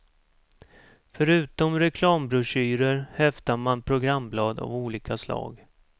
Förutom reklambroschyrer häftar man programblad av olika slag.